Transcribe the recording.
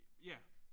Ja